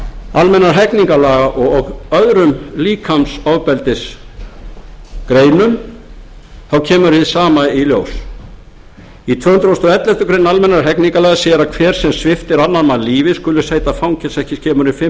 almennra hegningarlaga og öðrum líkamsofbeldisgreinum þá kemur hið sama í ljós í tvö hundruð og elleftu grein almennra hegningarlaga segir að hver sem sviptir annan mann lífi skuli sæta fangelsi ekki skemur en fimm ár hér